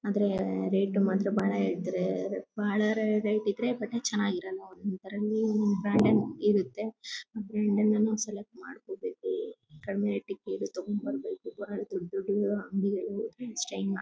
ಆದ್ರೆ ರೇಟ್ ಮಾತ್ರ ಬಹಳ ಇದ್ರೆ ಬಹಳ ರೇಟ್ ಇದ್ರೆ ಬಟ್ಟೆ ಚೆನ್ನಾಗಿರಲ್ಲ ಅಂತಾರೆ ನ್ಯೂ ಬ್ರಾಂಡೆ ಇರುತ್ತೆ ಆದ್ರೆ ಸೆಲೆಕ್ಟ್ ಮಾಡ್ಕೋಬೇಕು ಕಡಿಮೆ ರೇಟ್ ದು ಸೀರೆ ತಗೋಬರ್ಬೇಕು ಬಹಳ ದೊಡ್ಡ್ ದೊಡ್ಡ್ ಅಂಗಡಿಗೆ --